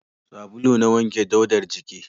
Sabulu na wanke daudar jiki